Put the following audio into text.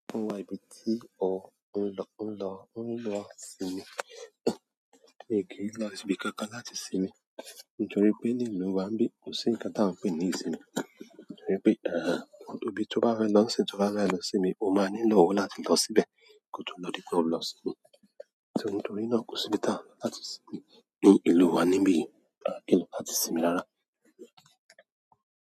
Ó ń wá ibi tí o ń lọ, ń lọ, ń lọ sinmi. Miì kí ń lọ sí ibi kankan láti sinmi nítorí pé ní ìlú wa ńbí, kò sí nǹkan táà ń pè ní ìsinmi. Nítorí pé, ọ̀dọ̀ ibi tí ó bá rẹ lọ́ sì tí ó bá rẹ lọ sinmi, o máa nílò owó láti lọ síbẹ̀ kí o tó lọ di pé ó lọ sinmi. Nítorí náà kò sí ibi táà láti sinmi ní ìlú wa níbí yìí, ìlú láti sinmi lára.